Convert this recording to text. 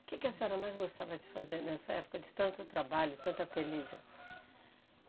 Que que a senhora mais gostava de fazer nessa época de tanto trabalho, tanta peleja?